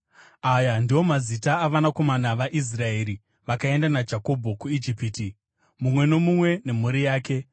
Aya ndiwo mazita avanakomana vaIsraeri vakaenda naJakobho kuIjipiti, mumwe nomumwe nemhuri yake: